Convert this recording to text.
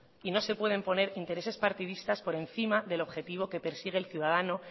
y no se pueden poner intereses partidistas por encima del objetivo que persigue el ciudadano